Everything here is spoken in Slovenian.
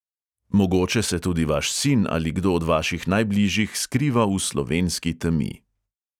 Mogoče se tudi vaš sin ali kdo od vaših najbližjih skriva v slovenski temi.